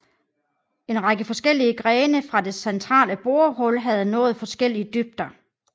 En række forskellige grene fra det centrale borehul havde nået forskellige dybder